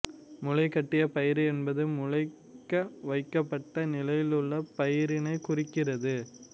முளைகட்டிய பயறு என்பது முளைக்க வைக்கப்பட்ட நிலையிலுள்ள பயறினை குறிக்கிறது